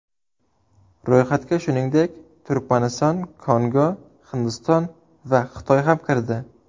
Ro‘yxatga shuningdek Turkmaniston, Kongo, Hindiston va Xitoy ham kirdi.